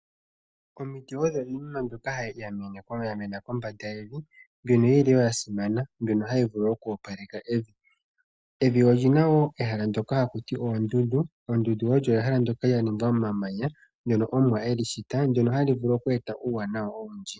Omiti odho iinima mbyoka yamena kombanda yevi, mbyono yili yasimana , mbyono hayi vulu woo oku opaleka evi. Evi olyina woo ehala ndyono ha ku tiwa oondundu. Ondundu olyo ehala ndyoka lyaningwa momamanya, ndyono omuwa eli shita, ndyono hali vulu oku eta uuwanawa owundji.